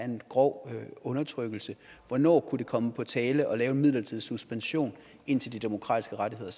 en grov undertrykkelse hvornår kunne det komme på tale at lave en midlertidig suspension indtil de demokratiske rettigheder